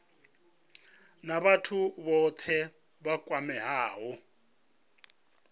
na vhathu vhothe vha kwameaho